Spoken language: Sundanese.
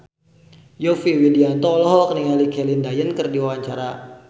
Yovie Widianto olohok ningali Celine Dion keur diwawancara